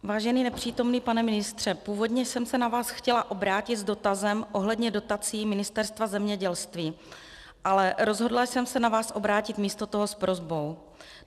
Vážený nepřítomný pane ministře, původně jsem se na vás chtěla obrátit s dotazem ohledně dotací Ministerstva zemědělství, ale rozhodla jsem se na vás obrátit místo toho s prosbou.